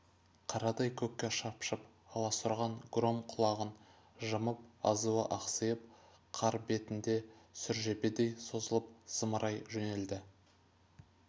қарадай көкке шапшып аласұрған гром құлағын жымып азуы ақсиып қар бетінде сүржебедей созылып зымырай жөнелді